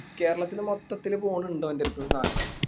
കേരളത്തിന് മൊത്തത്തിൽ പോണിണ്ട് ഓന്റെ അടുത്തിന് സാനം